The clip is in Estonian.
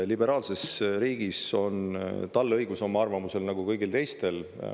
Liberaalses riigis on tal õigus oma arvamusele, nagu kõigil teistel.